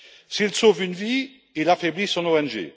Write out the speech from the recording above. S'il sauve une vie, il affaiblit son ONG.